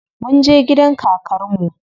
Munje gidan kakar mu.